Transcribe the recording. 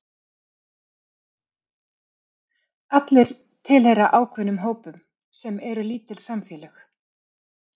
allir tilheyra ákveðnum hópum sem eru lítil samfélög